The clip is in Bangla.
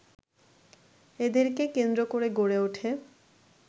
এদেরকে কেন্দ্র করে গড়ে ওঠে